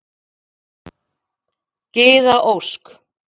Gyða Ósk.